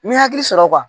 N bɛ hakili sɔrɔ